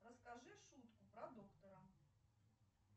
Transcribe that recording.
расскажи шутку про доктора